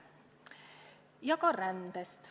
Ja tähtis on ka ränne.